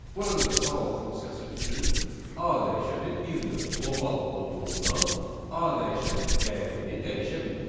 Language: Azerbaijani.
Burada da sağ ol funksiyası üçün A dəyişəni bir növ qlobal olduğundan A dəyişənin dəyərini dəyişə bilmir.